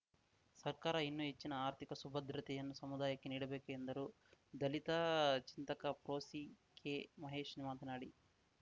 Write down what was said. ಸರ್ಕಾರ ಇನ್ನೂ ಹೆಚ್ಚಿನ ಆರ್ಥಿಕ ಸುಭದ್ರತೆಯನ್ನು ಸಮುದಾಯಕ್ಕೆ ನೀಡಬೇಕು ಎಂದರು ದಲಿತ ಚಿಂತಕ ಪ್ರೊಸಿಕೆಮಹೇಶ್‌ ಮಾತನಾಡಿ